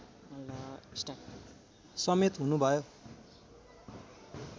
समेत हुनुभयो